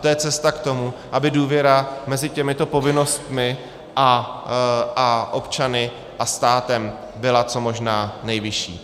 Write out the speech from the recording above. To je cesta k tomu, aby důvěra mezi těmito povinnostmi a občany a státem byla co možná nejvyšší.